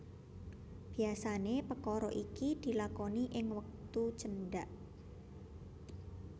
Biasané pekara iki dilakoni ing wektu cendhak